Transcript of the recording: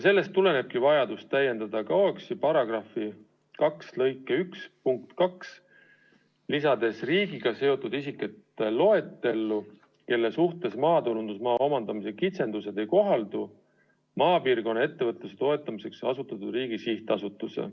Sellest tulenebki vajadus täiendada KAOKS-i § 2 lõike 1 punkti 2, lisades riigiga seotud isikute loetellu, kelle suhtes maatulundusmaa omandamise kitsendused ei kohaldu, maapiirkonna ettevõtluse toetamiseks asutatud riigi sihtasutus.